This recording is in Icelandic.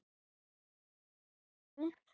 Þín vinkona Guðrún Dadda.